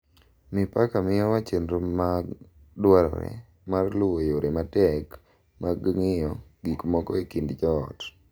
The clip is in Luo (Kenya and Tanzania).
Mipaka miyowa chenro ma dwarore mar luwo yore matek mag ng’iyo gik moko e kind joot,